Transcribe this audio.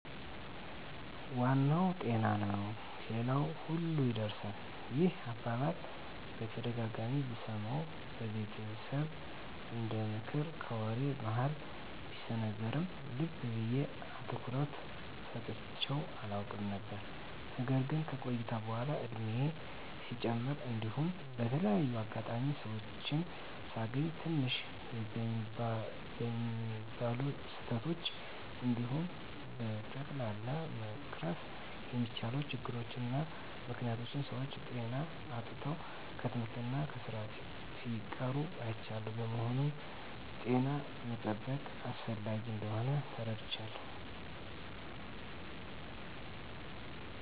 " ዋናው ጤና ነው ሌላው ሁሉ ይርሳል። " ይህን አባባል በተደጋጋሚ ብሰማውም በቤተሰብ እንደምክር ከወሬ መሀል ቢሰነዘርም ልብ ብየ አትኩሮት ሰጥቸው አላውቅም ነበር። ነገር ግን ከቆይታ በኃላ እድሜየም ሲጨምር እንዲሁም በተለያየ አጋጣሚ ሰወችን ሳገኝ ትንሽ በሚባሉ ስህተቶች እንዲሁም በቀላሉ መቀረፍ በሚችሉ ችግሮች እና ምክኒያቶች ሰወች ጤና አጥተው ከትምህርት እና ከስራ ሲቀሩ አይቻለሁ። በመሆኑም ጤናን መጠበቅ አስፈላጊ እንደሆን ተረድቻለሁ።